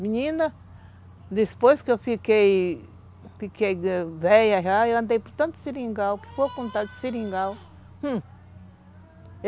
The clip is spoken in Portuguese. Menina, depois que eu fiquei velha já, eu andei por tantos seringal, o que foi contar de seringal? Hum.